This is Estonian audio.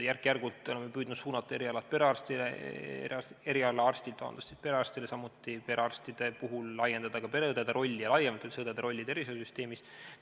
Järk-järgult oleme püüdnud suunata erialaarstide teemasid perearstile, samuti laiendada pereõdede rolli ja üldse õdede rolli tervishoiusüsteemis.